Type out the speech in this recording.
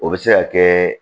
O bɛ se ka kɛ